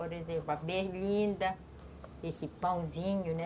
Por exemplo, a berlinda, esse pãozinho, né?